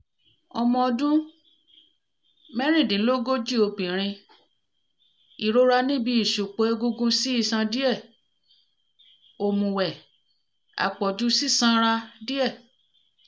ọmọ ọdún mẹ́rìndínlógún obìnrin ìrora níbi ìṣùpọ̀ egungun sí iṣan díẹ̀ òmùwẹ̀ àpọ̀jù sísan sanra díẹ̀